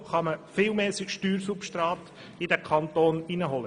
So kann man viel mehr Steuersubstrat in den Kanton holen.